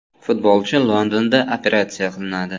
Futbolchi Londonda operatsiya qilinadi .